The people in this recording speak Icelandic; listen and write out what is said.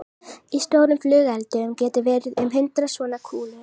Ég held nú alltaf að hér hafi verið að verki hálfsystir hennar mömmu.